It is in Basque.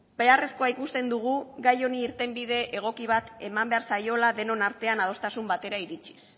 beharrezkoa ikusten dugu gai honi irtenbide egoki bat eman behar zaiola denon artean adostasun batera iritsiz